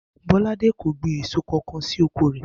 Bó̩ládé kò gbin èso kankan sí oko rè̩